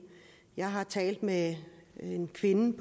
jeg har talt med en kvinde